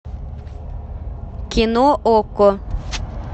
кино окко